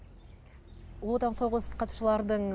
ұлы отан соғыс қатысушылардың